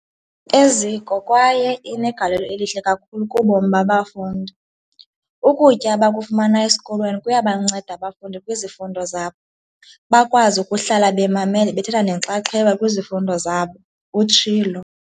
Eziko kwaye inegalelo elihle kakhulu kubomi babafundi. Ukutya abakufumana esikolweni kuyabanceda abafundi kwizifundo zabo, bakwazi ukuhlala bemamele bethatha nenxaxheba kwizifundo zabo, utshilo.